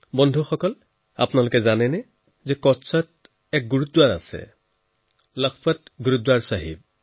বন্ধুসকল আপোনালোকে নিশ্চয় জানে কচ্ছত এটা গুৰদ্বাৰা আছে লাখপত গুৰদ্বাৰা চাহেব